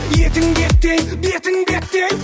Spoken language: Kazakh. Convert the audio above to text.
етіңді еттей бетің беттей